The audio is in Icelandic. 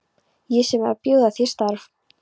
Ég sem er að bjóða þér starf!